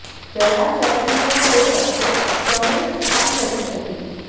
चराचरं च यो रक्षेत् स मे रक्षां करिष्यति